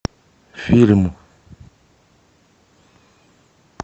фильм